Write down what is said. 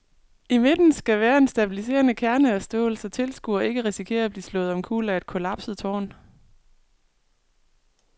I midten skal være en stabiliserende kerne af stål, så tilskuere ikke risikerer at blive slået omkuld af et kollapset tårn.